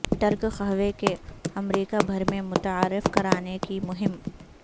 ترک قہوے کو امریکہ بھر میں متعارف کرانے کی مہم